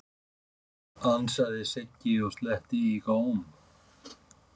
ansaði Siggi og sletti í góm.